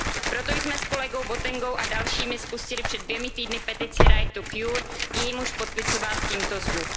Proto jsme s kolegou Botengou a dalšími spustili před 2 týdny petici Right2Cure, k jejímuž podpisu Vás tímto